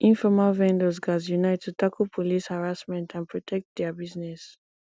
informal vendors gats unite to tackle police harassment and protect dia business